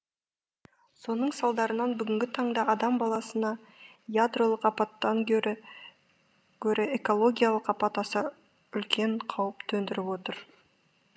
соның салдарынан бүгінгі таңда адам баласына ядролық апаттан гөрі экологиялық апат аса үлкен қауіп төндіріп отыр